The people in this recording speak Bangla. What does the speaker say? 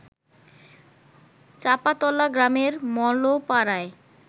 চাঁপাতলা গ্রামের মালোপাড়ায়